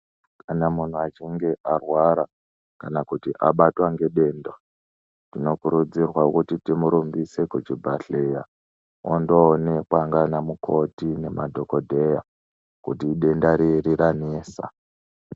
Kana munhu echinge arwara kana kuti abatwa ngedenda, tino kurudzirwa kuti timurumbise kuchibhadhleya, ondoo onekwa ngaana mukoti nemadhokodheya kuti idenda riri ranesa.